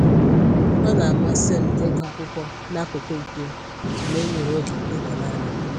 Ọ na-amasị m ịgụ akwụkwọ nakụkụ mpio mgbe m nwere oge ịnọ naanị m